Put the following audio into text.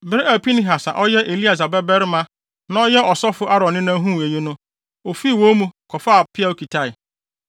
Bere a Pinehas a ɔyɛ Eleasar babarima a na ɔyɛ ɔsɔfo Aaron nena huu eyi no, ofii wɔn mu, kɔfaa peaw kitae;